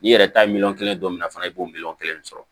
N'i yɛrɛ ta ye miliyɔn kelen dɔ mina fana i b'o miliyɔn kelen sɔrɔ